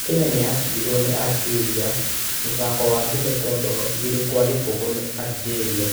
Kenya nĩyacindiro ni Algeria mũthako wa mbere kwa mbao igĩrĩ gwa gĩbũgũ nĩ Algeria